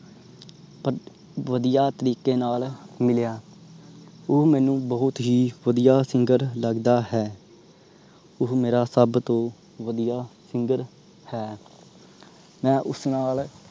ਵਧੀਆ ਤਰੀਕੇ ਨਾਲ ਮਿਲਿਆ ਉਹ ਮੈਨੂੰ ਬਹੁਤ ਹੀ ਵਧੀਆ singer ਲੱਗਦਾ ਹੈ ਉਹ ਮੇਰਾ ਸਬ ਤੋਂ ਵਧੀਆ singer ਹੈ। ਮੈਂ ਉਸ ਨਾਲ